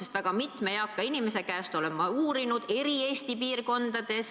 Olen asja uurinud väga mitme eaka inimese käest, kes elavad Eesti eri piirkondades,